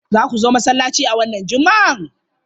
Za ku zo masallaci a wannan Juma'a?